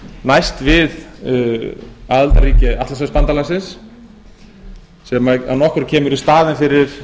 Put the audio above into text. næst við aðildarríki atlantshafsbandalagsins sem að nokkru kemur í staðinn fyrir